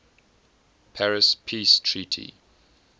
paris peace treaty